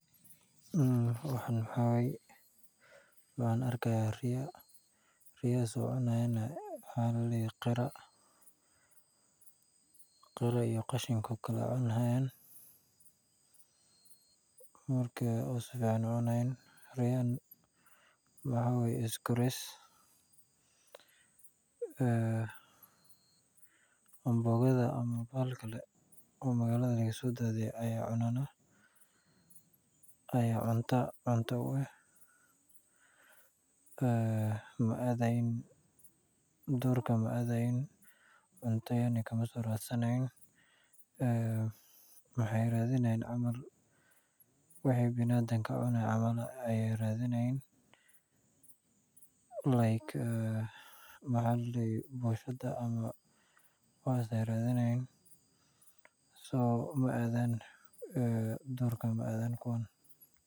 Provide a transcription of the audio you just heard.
Waxaan waxaa waye waxaan arki haaya riya oo qashin cuni haayan waxaa aawaye isloris amboogada ayeey cunaana oo cunta u ah duurka ma adayan waxeey raadinayin waxa aay biniadamka cunaan sida boshada iyo waxaas duurka maadan kuwaan.